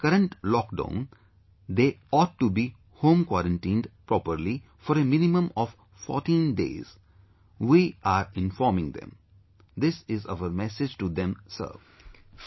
During the current lockdown, they ought to be home quarantined properly for a minimum of 14 days...we are informing them, this is our message to them Sir